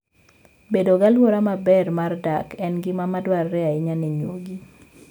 Bedo gi alwora maber mar dak en gima dwarore ahinya ne nyuogi.